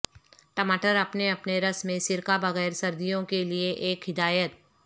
ٹماٹر اپنے اپنے رس میں سرکہ بغیر سردیوں کے لئے ایک ہدایت